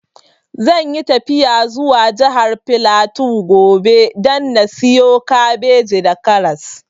Zan yi tafiya zuwa jihar flatu gobe da na siyo kabeji da karas